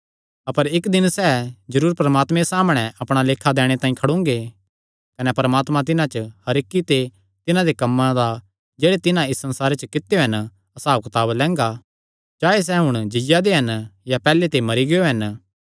अपर इक्क दिन सैह़ जरूर परमात्मे सामणै अपणा लेखा दैणे तांई खड़ोंगे कने परमात्मा तिन्हां च हर इक्की ते तिन्हां दे कम्मां दा जेह्ड़े तिन्हां इस संसारे च कित्यो हन हसाबकताब लैंगा चाहे सैह़ हुण जीआ दे हन या पैहल्ले ते मरी गियो हन